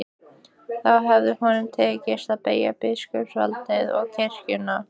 Þá hefði honum tekist að beygja biskupsvaldið og kirkjuna.